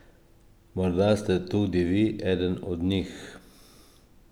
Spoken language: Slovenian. Morda ste tudi vi eden od njih?